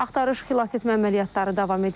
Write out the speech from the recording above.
Axtarış xilasetmə əməliyyatları davam edir.